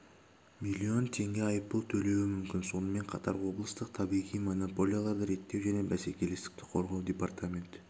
миллион теңге айыппұл төлеуі мүмкін сонымен қатар облыстық табиғи монополияларды реттеу және бәсекелестікті қорғау департаменті